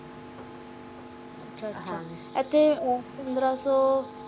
ਅਚਾ ਅੱਛਾ ਇਥੇ ਪੰਦਰਾਂ ਸੋ